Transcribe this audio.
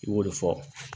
I b'o de fɔ